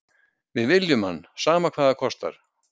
Við viljum hann, sama hvað það kostar.